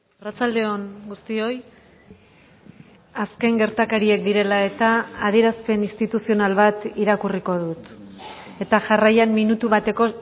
arratsalde on guztioi azken gertakariek direla eta adierazpen instituzional bat irakurriko dut eta jarraian minutu bateko